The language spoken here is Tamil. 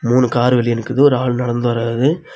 மூணு கார் வெளிய நிக்குது ஒரு ஆள் நடந்து வராரு.